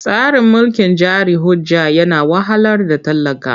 Tsarin mulkin jari hujja yana wahalar da talaka.